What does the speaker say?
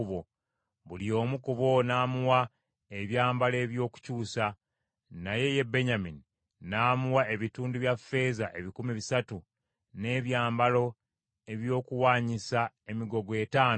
Buli omu ku bo n’amuwa ebyambalo eby’okukyusa, naye ye Benyamini n’amuwa ebitundu bya ffeeza ebikumi bisatu n’ebyambalo eby’okuwanyisa emigogo etaano.